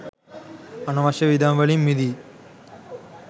අනවශ්‍ය වියදම් වලින් මිදී